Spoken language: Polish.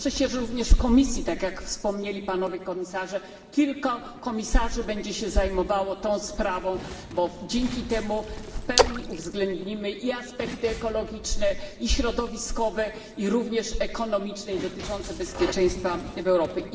I cieszę się również, że w Komisji tak jak wspomnieli Panowie Komisarze kilku komisarzy będzie się zajmowało tą sprawą, bo dzięki temu w pełni uwzględnimy i aspekty ekologiczne, i środowiskowe, i również ekonomiczne, i dotyczące bezpieczeństwa w Europie.